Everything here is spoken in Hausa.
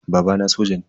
Babana soja ne.